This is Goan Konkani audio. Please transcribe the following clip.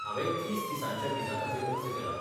हांवें तीस दिसांच्या विजा खातीर अर्ज केला.